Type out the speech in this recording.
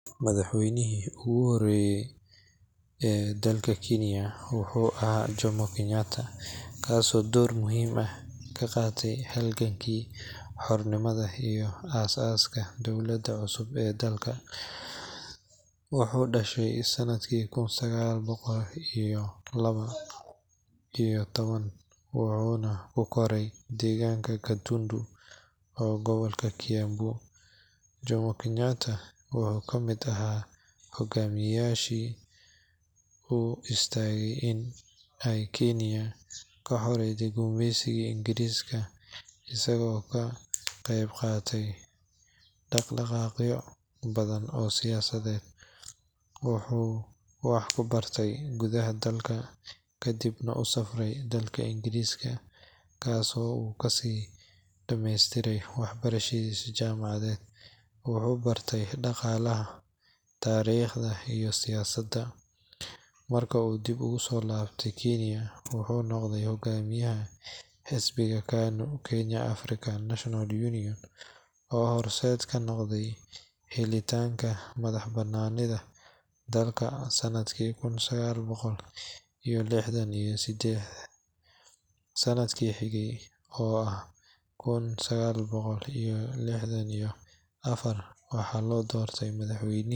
Bogagga rasmiga ah ee dowladda waxay bixiyaan adeegyo badan oo fududeynaya nolosha muwaadiniinta, iyadoo aan loo baahnayn in la booqdo xafiisyada dowliga ah. Adeegyadan waxaa ka mid ah codsashada dukumeentiyada muhiimka ah sida baasaboorka, aqoonsiga, iyo warqadda dhalashada. Waxa kale oo laga heli karaa adeegyo la xiriira canshuuraha sida buuxinta iyo dirista foomamka tax return iyo helitaanka caddaynta bixinta canshuuraha. Intaa waxaa dheer, waxaad ka codsan kartaa rukhsadaha ganacsiga, ruqsadaha dhismaha, iyo diiwaangelinta shirkadaha. Waxaa kaloo laga heli karaa xog muhiim ah oo ku saabsan shaqooyinka banaan, adeegyada caafimaadka, waxbarashada iyo qorsheyaasha horumarinta ee dowladda. Adeegyada kale ee muhiimka ah waxaa ka mid ah bixinta cabashooyin rasmi ah, raadinta dacwado maxkamadeed, iyo codsashada warqadda police clearance. Dadka qaata adeegyada bulshada sida gargaarka cuntada.